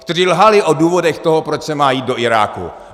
Kteří lhali o důvodech toho, proč se má jít do Iráku.